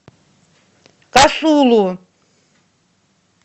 касулу